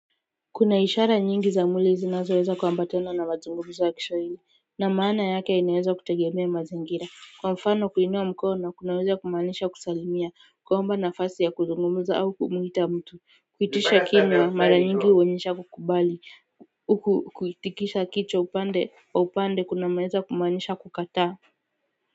Kuna ishara nyingi za mwili zinazoweza kuambatana na mazungumzo ya Kiswahili na maana yake inaeza kutegemea mazingira kwa mfano kuinua mkono kunaweza kumaanisha kusalimia kuomba nafasi ya kuzungumza au kumuita mtu kuitisha kinwa mara nyingi huonyesha kukubali kuitikisha kichwa upande kunaweza kumaanisha kukataa.